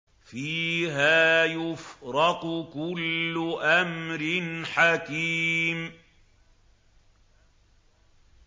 فِيهَا يُفْرَقُ كُلُّ أَمْرٍ حَكِيمٍ